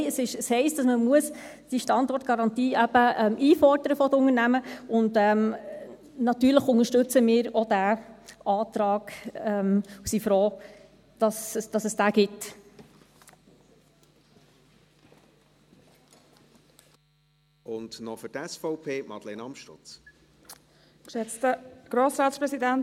Nein, es heisst, dass man diese Standortgarantie eben von den Unternehmen einfordern muss, und natürlich unterstützen wir auch diesen Antrag und sind froh, dass es ihn gibt.